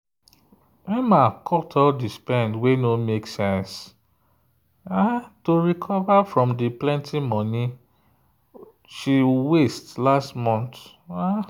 emma cut all the spend wey no make sense to recover from the plenty money she waste last month.